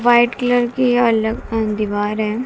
White colour की अल अं दीवार है।